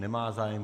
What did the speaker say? Nemá zájem.